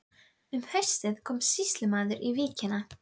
Um bókamál Háskólans og bókasafn í hinni nýju byggingu